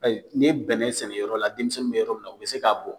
n'i ye bɛnɛ sɛnɛ yɔrɔ la denmisɛnnin bɛ yɔrɔ min na u bɛ se k'a bɔn.